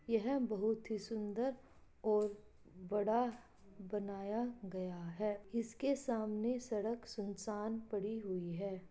यह बहुत ही सुंदर और बड़ा बनाया गया है इसके सामने सड़क सुनसान पड़ी हुई है।